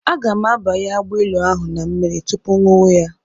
Aga m abanye agbailu ahụ na mmiri tupu ṅụwa ya.